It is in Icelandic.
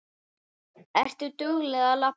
Ertu dugleg að labba?